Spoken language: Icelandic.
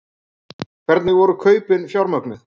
Hvernig voru kaupin fjármögnuð?